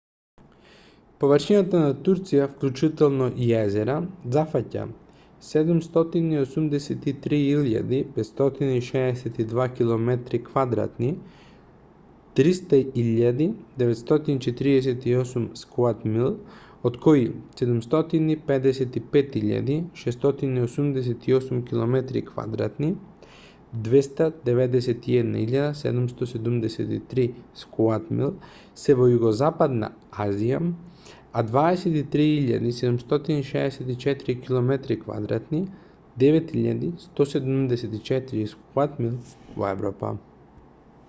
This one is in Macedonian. површината на турција вклучително и езера зафаќа 783,562 километри квадратни 300,948 sq mi од кои 755,688 километри квадратни 291,773 sq mi се во југозападна азија а 23,764 километри квадратни 9,174 sq mi во европа